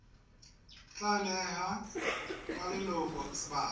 tla neha ba leloko sebaka